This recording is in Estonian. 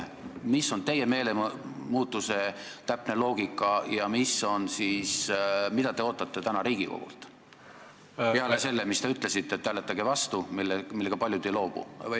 Mis on teie meelemuutuse täpne loogika ja mida te ootate täna Riigikogult, peale selle, mis te ütlesite, et hääletage vastu, millega paljud ei nõustu?